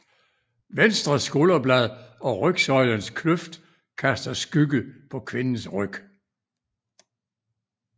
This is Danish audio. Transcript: Venstre skulderblad og rygsøjlens kløft kaster skygge på kvindens ryg